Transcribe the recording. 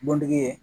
Butigi ye